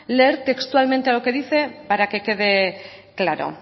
leer textualmente lo que dice para que quede claro